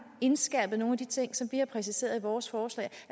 indskærpede nogle af de ting som vi har præciseret i vores forslag